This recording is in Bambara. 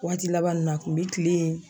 Waati laban nun na a kun bɛ kilen yen.